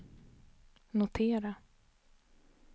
notera